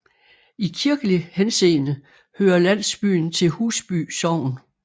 I kirkelig henseende hører landsbyen til Husby Sogn